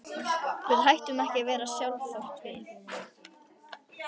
Við hættum ekki að vera við sjálf þótt við.